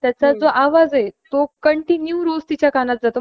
अं देऊन किंवा त्याला मध्यवर्ती धरून हि सगळी धोरणं आखत असते.